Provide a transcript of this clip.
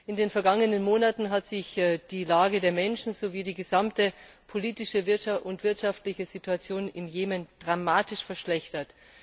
In den vergangenen Monaten haben sich die Lage der Menschen sowie die gesamte politische und wirtschaftliche Situation im Jemen dramatisch verschlechtert.